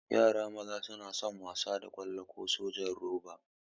Yara maza suna son wasa da ƙwallo ko sojan roba.